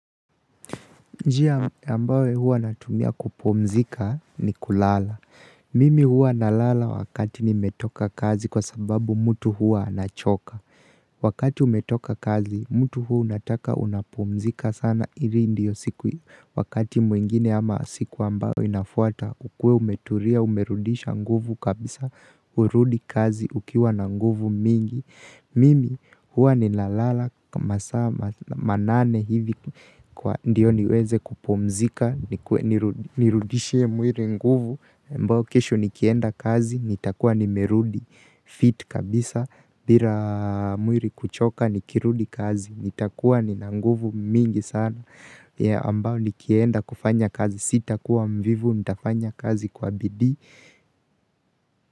Njia ambayo huwa natumia kupumzika ni kulala. Mimi huwa nalala wakati nimetoka kazi kwa sababu mtu huwa anachoka. Wakati umetoka kazi, mtu huwa unataka unapumzika sana. Ivi ndiyo siku wakati mwingine ama siku ambayo inafuata. Ukuwe umetulia umerudisha nguvu kabisa, urudi kazi ukiwa na nguvu mingi. Mimi huwa ninalala kwa masaa manane hivi ndio niweze kupumzika nirudishie mwili nguvu ambao kesho nikienda kazi nitakuwa nimerudi fiti kabisa bila mwili kuchoka nikirudi kazi nitakuwa nina nguvu mingi sana ya ambao nikienda kufanya kazi sitakuwa mvivu nitafanya kazi kwa bidii.